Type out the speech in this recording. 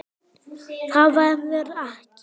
Það verður ekki.